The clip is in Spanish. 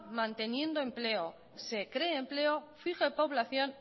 manteniendo empleo se creé empleo fije población